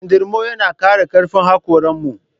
Kindirmo yana ƙara ƙarfin haƙoran mu